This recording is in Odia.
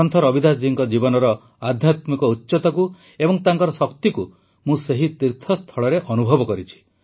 ସନ୍ଥ ରବିଦାସ ଜୀଙ୍କ ଜୀବନର ଆଧ୍ୟାତ୍ମିକ ଉଚ୍ଚତାକୁ ଏବଂ ତାଙ୍କର ଶକ୍ତିକୁ ମୁଁ ସେହି ତୀର୍ଥସ୍ଥଳରେ ଅନୁଭବ କରିଛି